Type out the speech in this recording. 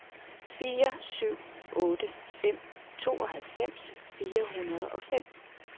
fire syv otte fem tooghalvfems fire hundrede og fem